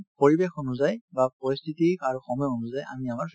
মানে পৰিৱেশ অনুযায়ী বা পৰিস্থিতি আৰু সময় অনুযায়ী আমি আমাৰ